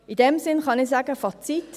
In diesem Sinn kann ich sagen, Fazit